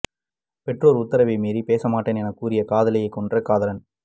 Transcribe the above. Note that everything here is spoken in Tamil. பெற்றோர் உத்தரவை மீறி பேசமாட்டேன் என கூறிய காதலியை கொன்ற காதலன்